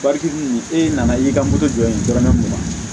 e nana i ka moto jɔyɔ ye dɔrɔn ne mun na